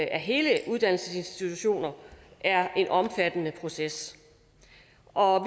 af hele uddannelsesinstitutioner er en omfattende proces og